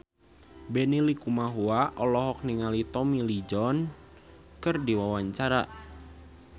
Benny Likumahua olohok ningali Tommy Lee Jones keur diwawancara